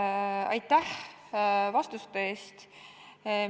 Hea minister, aitäh vastuste eest!